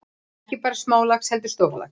Ekki bara smálax heldur stórlax.